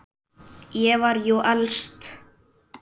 Ég var jú elst.